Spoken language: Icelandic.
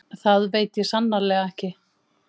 Það veit ég sannarlega ekki